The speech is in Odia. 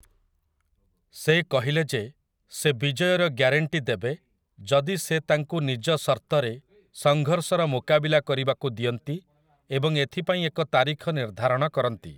ସେ କହିଲେ ଯେ ସେ ବିଜୟର ଗ୍ୟାରେଣ୍ଟି ଦେବେ ଯଦି ସେ ତାଙ୍କୁ ନିଜ ସର୍ତ୍ତରେ ସଂଘର୍ଷର ମୁକାବିଲା କରିବାକୁ ଦିଅନ୍ତି ଏବଂ ଏଥିପାଇଁ ଏକ ତାରିଖ ନିର୍ଦ୍ଧାରଣ କରନ୍ତି ।